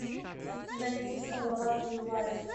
найди салават юлаев